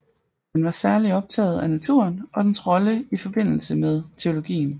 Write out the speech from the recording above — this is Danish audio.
Han var særligt optaget af naturen og dens rolle i og forbindelse med teologien